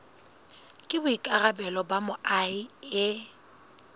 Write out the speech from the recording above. ke boikarabelo ba moahi e